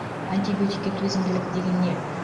антибиотикке төзімділік деген не